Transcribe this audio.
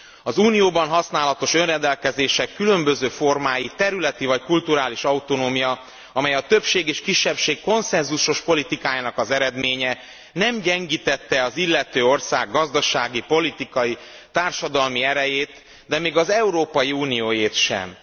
Az Unióban használatos önrendelkezések különböző formái a területi vagy kulturális autonómia, amely a többség és kisebbség konszenzusos politikájának az eredménye, nem gyengítette az illető ország gazdasági, politikai, társadalmi erejét, de még az Európai Unióét sem.